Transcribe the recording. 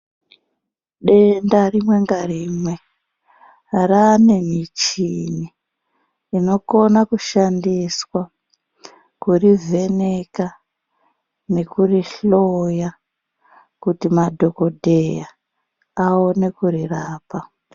Denda rimwe ngarimwe rane michini inokona kushandiswa kuri vheneka nekuruhloya. Kuti madhogodheya aone kurirapa.